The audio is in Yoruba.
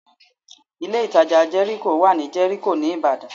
Ilé ìtajà ńlá Jẹ́ríkò wà ní Jẹ́ríkò ní Ìbàdàn